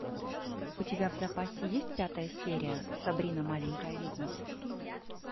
у тебя в запасе есть пятая серия сабрина маленькая ведьма